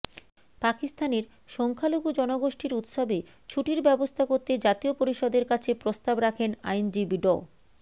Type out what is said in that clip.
পাকিস্তানের সংখ্যালঘু জনগোষ্ঠীর উৎসবে ছুটির ব্যবস্থা করতে জাতীয় পরিষদের কাছে প্রস্তাব রাখেন আইনজীবী ড